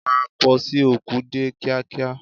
Pa pósí òkú dé kíá kíá!